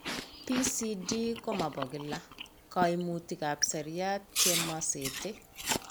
PCD ko mo bo kila , kaimutikab seriat che mo sete.